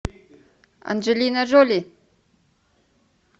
анджелина джоли